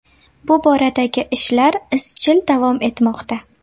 Bu boradagi ishlar izchil davom etmoqda.